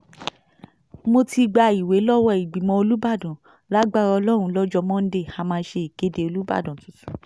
mo ti gba ìwé lọ́wọ́ ìgbìmọ̀ olùbàdàn lágbára ọlọ́run lọ́jọ́ monde a máa ṣe ìkéde olùbàdàn tuntun